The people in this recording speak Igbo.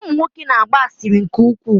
Ụmụ nwoke na-agba asịrị nke ukwuu.